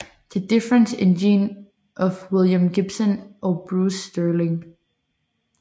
The Difference Engine af William Gibson og Bruce Sterling